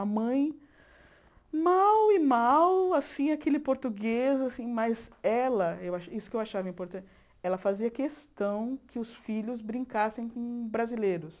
A mãe, mal e mal, assim, aquele português, assim mas ela, isso que eu achava importante, ela fazia questão que os filhos brincassem com brasileiros.